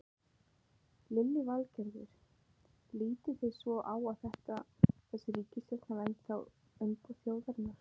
Lillý Valgerður: Lítið þið svo á að þessi ríkisstjórn hafi ennþá umboð þjóðarinnar?